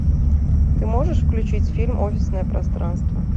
ты можешь включить фильм офисное пространство